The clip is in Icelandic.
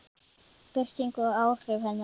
Birting og áhrif hennar.